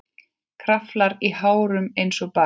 Kraflar í hárunum einsog barn.